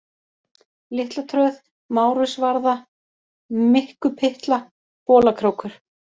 Litlatröð, Márusvarða, Mikkupytla, Bolakrókur